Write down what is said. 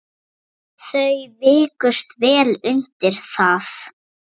Þau vikust vel undir það.